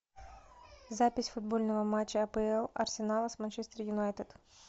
запись футбольного матча апл арсенала с манчестер юнайтед